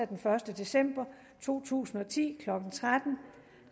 den første december to tusind og ti klokken tretten